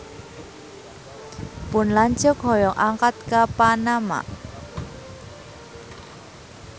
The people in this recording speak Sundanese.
Pun lanceuk hoyong angkat ka Panama